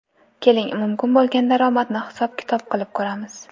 Keling , mumkin bo‘lgan daromadni hisob - kitob qilib ko‘ramiz !